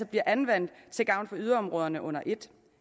bliver anvendt til gavn for yderområderne under ét